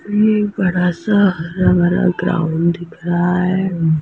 ये एक बड़ा सा हरा भरा ग्राउंड दिख रहा है।